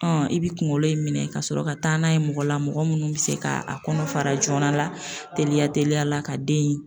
i bi kunkolo in minɛ ka sɔrɔ ka taa n'a ye mɔgɔ la, mɔgɔ munnu bi se ka a kɔnɔ fara joona la teliya teliya la ka den